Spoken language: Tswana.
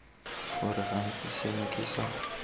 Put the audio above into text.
gore gantsi seno ke sa